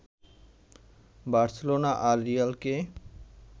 Barcelona আর রিয়ালকে